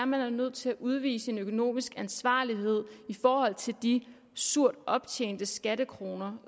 man er nødt til at udvise økonomisk ansvarlighed i forhold til de surt optjente skattekroner